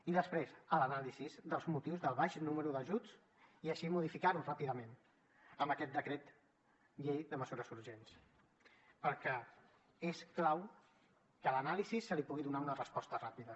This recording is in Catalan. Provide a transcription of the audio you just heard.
i després l’anàlisi dels motius del baix número d’ajuts i així modificar ho ràpidament amb aquest decret llei de mesures urgents perquè és clau que a l’anàlisi se li pugui donar una resposta ràpida